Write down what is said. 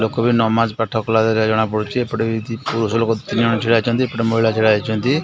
ଲୋକ ବି ନମାଜ ପାଠ କଲା ପରି ଜଣାପଡୁଛି। ଏପଟେ ବି ପୁଅ ଝିଅ ଲୋକ ତିନିଜଣ ଛିଡ଼ାହୋଇଛନ୍ତି। ଏପଟେ ମହିଳା ଛିଡାହେଇଛନ୍ତି।